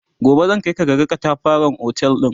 gobe zan Kai ka kaga ƙatafaren otel ɗin